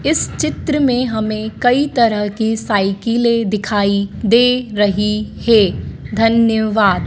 इस चित्र में हमें कई तरह के साइकिलें दिखाई दे रही हैं धन्यवाद।